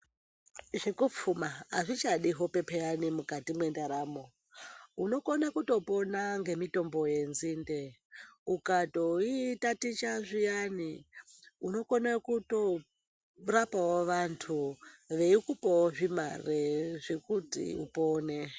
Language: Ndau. Zvekupfuma zvichadi hope paani ukati mendaramo unokone kutopona ngemitombo yenzinde ukatoitaticha zviyani unokone kutorape vantu veikupawo zvimarw zvekuti upone.